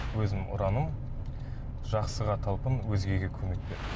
өзімнің ұраным жақсыға талпын өзгеге көмек бер